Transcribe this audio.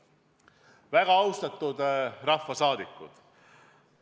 Väga austatud rahvasaadikud!